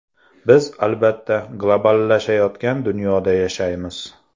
Biz, albatta, globallashayotgan dunyoda yashaymiz.